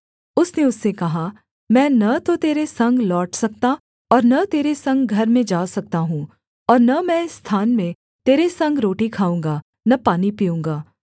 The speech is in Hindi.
उसने उससे कहा मैं न तो तेरे संग लौट सकता और न तेरे संग घर में जा सकता हूँ और न मैं इस स्थान में तेरे संग रोटी खाऊँगा न पानी पीऊँगा